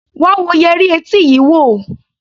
Wá wo yẹrí etí yii wo!